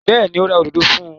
Bẹ́ẹ̀ ni, ó ra òdòdó fún un.